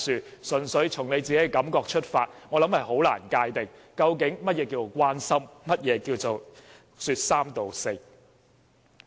如果純粹從你本身的感覺出發，我想難以界定究竟何謂關心及說三道四。